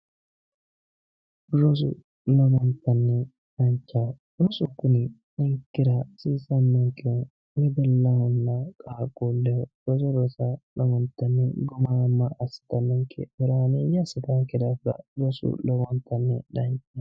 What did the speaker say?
rosu lowontanni danchaho rosu kuni ninkera hasiisannonkeho wedellahonna qaaquulleho lowontanni gumaamma assitannonke horaameeyye assitannonke daafira rosu lowontanni danchaho.